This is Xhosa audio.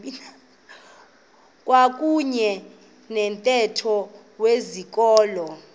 kwakuyne nomthetho wezikolo